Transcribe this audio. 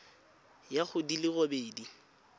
ya go di le robedi